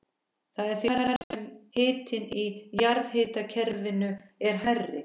Það er því hærra sem hitinn í jarðhitakerfinu er hærri.